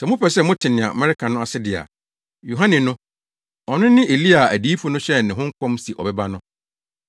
Sɛ mopɛ sɛ mote nea mereka no ase de a, Yohane no, ɔno ne Elia a adiyifo no hyɛɛ ne ho nkɔm se ɔbɛba no.